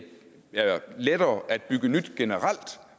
lettere at bygge nyt